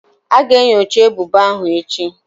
A ga-enyocha ebubo ahụ echi.